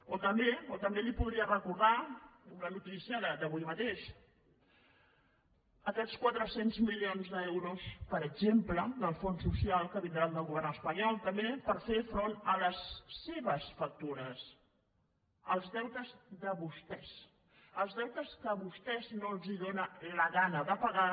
o també o també li podria recordar una notícia d’avui mateix aquests quatre cents milions d’euros per exemple del fons social que vindran del govern espanyol també per fer front a les seves factures als deutes a vostès no els dóna la gana de pagar